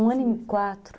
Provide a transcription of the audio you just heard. Um ano e quatro.